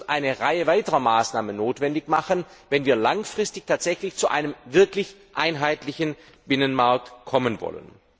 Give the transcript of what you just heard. Es wird eine Reihe weiterer Maßnahmen notwendig machen, wenn wir langfristig tatsächlich zu einem wirklich einheitlichen Binnenmarkt kommen wollen.